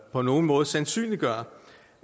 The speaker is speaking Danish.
på nogen måde sandsynliggør